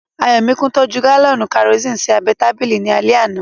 Ayọ̀míkún tọ́jú gálọ̀nì kẹrosini sí abẹ́ ẹ tábìlì ní alẹ́ àná